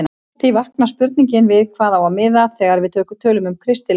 Því vaknar spurningin við hvað á að miða þegar við tölum um kristileg gildi?